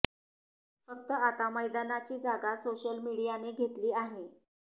फक्त आता मैदानाची जागा सोशल मीडियाने घेतली आहे